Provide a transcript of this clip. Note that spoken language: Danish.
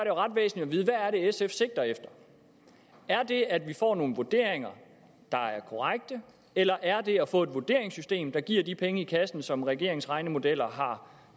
jo ret væsentligt at er sf sigter efter er det at vi får nogle vurderinger der er korrekte eller er det at få et vurderingssystem der giver de penge i kassen som regeringens regnemodeller har